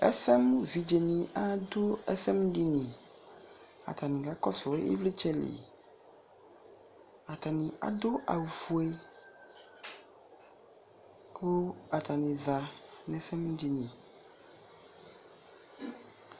Ɛsɛmʋ evidze ni adʋ ɛsɛmʋ dini Atani kakɔsʋ ivlitsɛ li Atani adʋ awʋ fue kʋ atani za nʋ ɛsɛmʋ dini